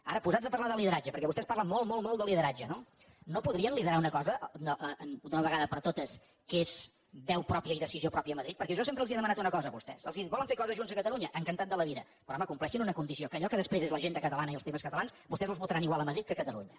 ara posats a parlar de lideratge perquè vostès parlen molt molt molt de lideratge no no podrien liderar una cosa d’una vegada per totes que és veu pròpia i decisió pròpia a madrid perquè jo sempre els he demanat una cosa a vostès els he dit volen fer coses junts a catalunya encantat de la vida però home compleixin una condició que allò que després és l’agenda catalana i els temes catalans vostès els votaran igual a madrid que a catalunya